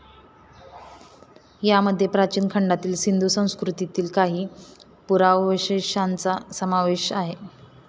यामध्ये प्राचीन खंडातील सिंधू संस्कृतीतील काही पुरावशेशांचा समावेश आहे.